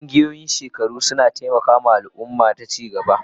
Ƙungiyoyin shekaru suna taimaka wa al'umma ta ci gaba.